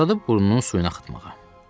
Başladı burnunun suyunu axıtmağa.